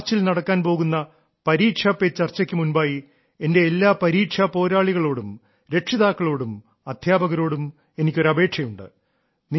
മാർച്ചിൽ നടക്കാൻ പോകുന്ന പരീക്ഷാ പേ ചർച്ചയ്ക്കു മുൻപായി എന്റെ എല്ലാ പരീക്ഷാ പോരാളികളോടും രക്ഷിതാക്കളോടും അദ്ധ്യാപകരോടും എനിക്കൊരു അപേക്ഷയുണ്ട്